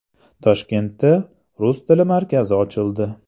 Toshkentda Rus tili markazi ochildi.